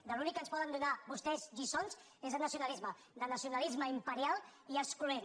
de l’únic que ens poden donar vostès lliçons és de nacionalisme de nacionalisme imperial i excloent